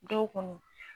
Dɔw kɔni